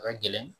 A ka gɛlɛn